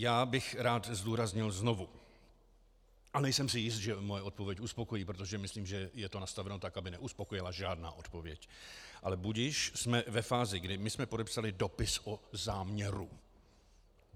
Já bych rád zdůraznil znovu - a nejsem si jist, že moje odpověď uspokojí, protože myslím, že je to nastaveno tak, aby neuspokojila žádná odpověď, ale budiž -, jsme ve fázi, kdy my jsme podepsali dopis o záměru.